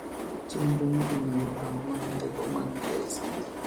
Chendro ni onego orang mana teko mag KICD.